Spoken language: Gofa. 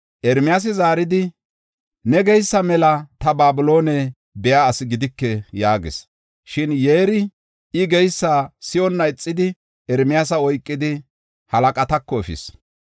Ermiyaasi zaaridi, “Ne geysa mela ta Babiloone biya asi gidike” yaagis. Shin Yeerey I geysa si7onna ixidi Ermiyaasa oykidi halaqatako efis.